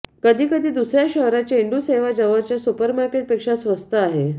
कधी कधी दुसर्या शहरात चेंडू सेवा जवळच्या सुपरमार्केट पेक्षा स्वस्त आहे